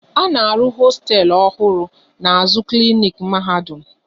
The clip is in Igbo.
A na-arụ hosteelu ọhụrụ n'azụ klinik Mahadum